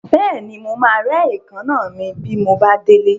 Bẹ́ẹ̀ni, mo máa rẹ́ èékánná mi bí mo bá délé.